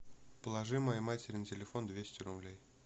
положи моей матери на телефон двести рублей